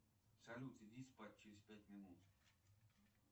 салют иди спать через пять минут